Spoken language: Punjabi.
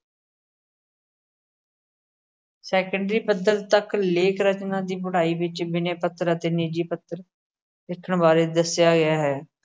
ਸੈਕੰਡਰੀ ਪੱਧਰ ਤੱਕ ਲੇਖ-ਰਚਨਾ ਦੀ ਪੜ੍ਹਾਈ ਵਿੱਚ ਬਿਨੈ ਪੱਤਰ ਅਤੇ ਨਿੱਜੀ ਪੱਤਰ ਲਿਖਣ ਬਾਰੇ ਦੱਸਿਆ ਗਿਆ ਹੈ।